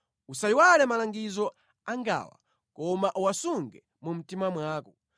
Usayiwale malangizo angawa, koma uwasunge mu mtima mwako.